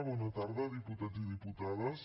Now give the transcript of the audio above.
bona tarda diputats i diputades